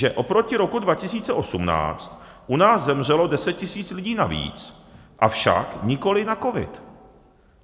Že oproti roku 2018 u nás zemřelo 10 000 lidí navíc, avšak nikoliv na covid.